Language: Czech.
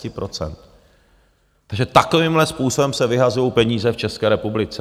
Takže takovýmhle způsobem se vyhazují peníze v České republice.